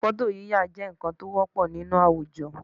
Fọ́tò yíyà jẹ́ nǹkan tí ó wọ́pọ̀ nínú àwùjọ